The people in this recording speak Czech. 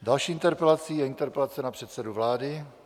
Další interpelací je interpelace na předsedu vlády.